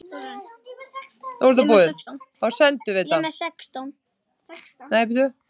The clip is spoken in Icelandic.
Þar sem mótið var haldið í Suður-Ameríku var kostnaður við ferðalagið mikill fyrir Evrópuþjóðirnar.